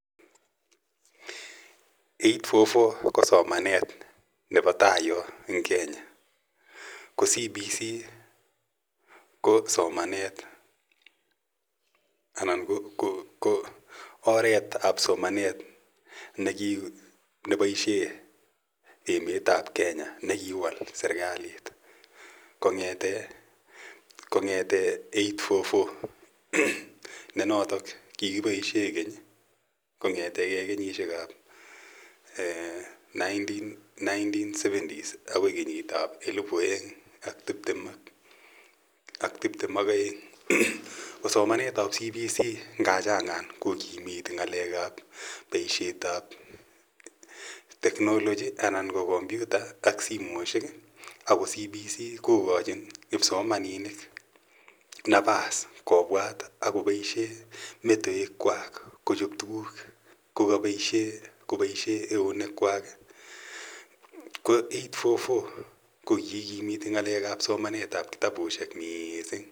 8.4.4 ko somanet nepo tai yo en Kenya. Ko CBC ko somanet anan ko oret ap somanet nepaishe emet ap Kenya, ne kiwal serikalit kong'ete 8.4.4 ne notok kikipaishe keny kong'ete ge kesnyishek ap nineteen seventies akoi kenyit ap elipu aeng' ak tiptem ak aeng'. Ko somanet ap CBC nga changan kokimiti ng'alek ap poishet ap technology ana ko kompyuta ak simoshek. Ako CBC ko kachin kipsomaninik napas kopwat ak kopaishe metoekwak kochope tuguk kopaishe eunekwak. Ko 8.4.4 ko kiikimiti somanet ap kitapushek missing'